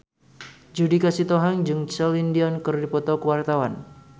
Judika Sitohang jeung Celine Dion keur dipoto ku wartawan